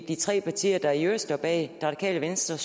de tre partier der i øvrigt står bag radikale venstre